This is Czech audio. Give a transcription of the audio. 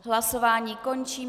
Hlasování končím.